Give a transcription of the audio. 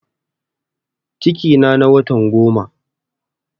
Cikina na watan goma